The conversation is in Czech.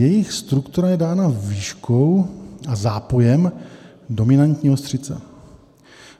Jejich struktura je dána výškou a zápojem dominantní ostřice.